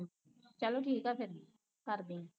ਚਲੋ ਠੀਕ ਆ ਫਿਰ ਕਰਦੀ